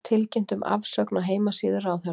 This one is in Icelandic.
Tilkynnt um afsögn á heimasíðu ráðherra